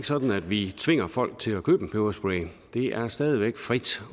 sådan at vi tvinger folk til at købe en peberspray det er stadig væk frit